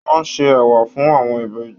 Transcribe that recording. Wọn ṣe ẹwà fún àwọn Ìbejì.